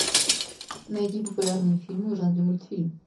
найди популярные фильмы в жанре мультфильм